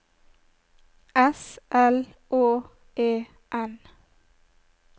S L Å E N